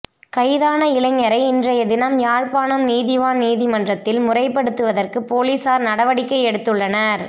கைதான இளைஞரை இன்றைய தினம் யாழ்ப்பாணம் நீதவான் நீதிமன்றத்தில் முற்படுத்துவதற்குப் பொலிஸார் நடவடிக்கை எடுத்துள்ளனர்